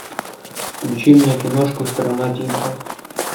включи мне киношку страна тигров